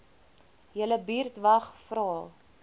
julle buurtwag vra